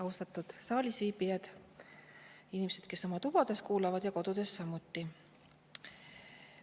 Austatud saalis viibijad ning inimesed, kes kuulavad oma tubades või kodudes!